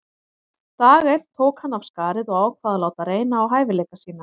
Dag einn tók hann af skarið og ákvað að láta reyna á hæfileika sína.